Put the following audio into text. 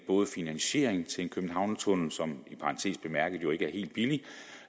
finansiering til en københavnertunnel som i parentes bemærket jo ikke er helt billig